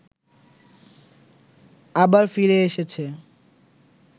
আবার ফিরে এসেছে